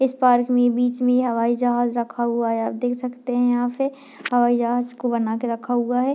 इस पार्क में बीच में हवाई जहाज रखा हुआ है आप देख सकते है यहाँ पे हवाई जहाज को बना के रखा हुआ है।